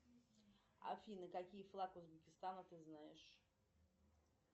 афина какие флаг узбекистана ты знаешь